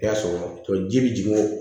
I y'a sɔrɔ tɔ ji bɛ jigin